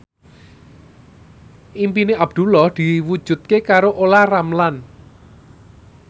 impine Abdullah diwujudke karo Olla Ramlan